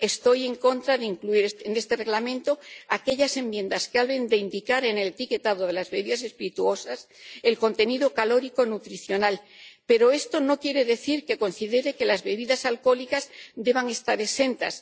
Estoy en contra de incluir en este Reglamento aquellas enmiendas que hablen de indicar en el etiquetado de las bebidas espirituosas el contenido calórico nutricional, pero esto no quiere decir que considere que las bebidas alcohólicas deban estar exentas.